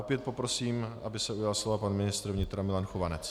Opět poprosím, aby se ujal slova pan ministr vnitra Milan Chovanec.